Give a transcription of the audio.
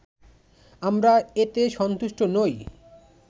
আমরা এতে সন্তুষ্ট নই